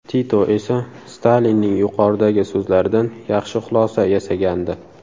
Tito esa, Stalinning yuqoridagi so‘zlaridan yaxshi xulosa yasagandi.